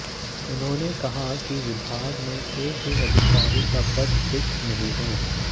उन्होंने कहा कि विभाग में एक भी अधिकारी का पद रिक्त नहीं है